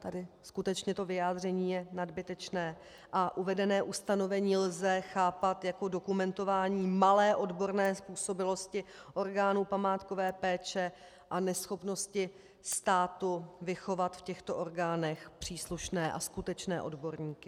Tady skutečně to vyjádření je nadbytečné a uvedené ustanovení lze chápat jako dokumentování malé odborné způsobilosti orgánů památkové péče a neschopnosti státu vychovat v těchto orgánech příslušné a skutečné odborníky.